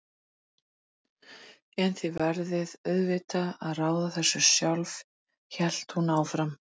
En þið verðið auðvitað að ráða þessu sjálf, hélt hún áfram.